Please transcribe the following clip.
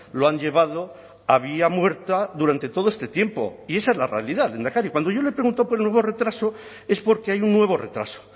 lo han llevado a vía muerta durante todo este tiempo y esa es la realidad lehendakari cuando yo le pregunto por el nuevo retraso es porque hay un nuevo retraso